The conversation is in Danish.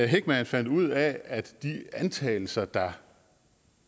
heckman fandt ud af at de antagelser der